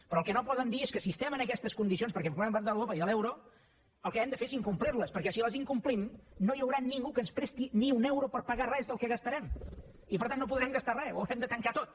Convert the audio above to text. però el que no poden dir és que si estem en aquestes condicions perquè formem part d’europa i de l’euro el que hem de fer és incomplir les perquè si les incomplim no hi haurà ningú que ens presti ni un euro per pagar res del que gastarem i per tant no podrem gastar re ho haurem de tancar tot